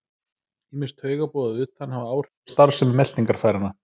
Ýmis taugaboð að utan hafa áhrif á starfsemi meltingarfæranna.